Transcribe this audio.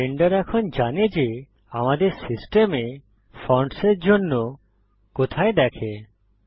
Blender এখন জানে যে আমাদের সিস্টেমে ফন্টসের জন্য কোথায় দেখে